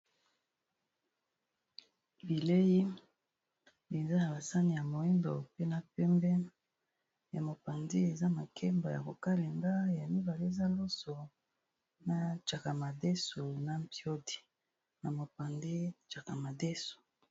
Bileyi eza na basani ya mwimbo mpe na pembe, na mopanzi eza makemba ya kokalinga, ya mibale eza loso na nsakamadesu na mpiyod,i na mopanzi nsaka madesu.